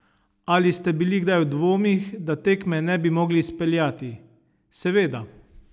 Ali ste bili kdaj v dvomih, da tekme ne bi mogli izpeljati: 'Seveda.